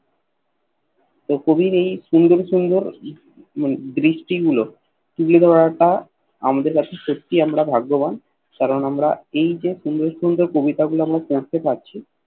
তো কবির ঐ সসুন্দর সুন্দর দৃষ্টি গুলো তুলে ধরাটা আমাদের কাছে সত্তি আমরা ভাগ্যাবান কারণ এই যে সুন্দর সুন্দর কবিতা গুল আমরা পড়তে পারছি